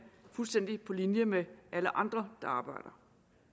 fuldstændig på linje med alle andre der arbejder